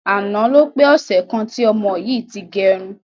Àná ló pé ọsẹ̀ kan tí ọmọ yìí ti gẹrun.